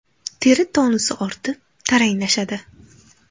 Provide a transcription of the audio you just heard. Teri tonusi ortib, taranglashadi.